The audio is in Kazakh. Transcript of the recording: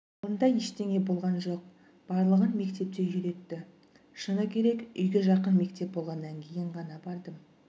ондай ештеңе болған жоқ барлығын мектепте үйретті шыны керек үйге жақын мектеп болғаннан кейін ғана бардым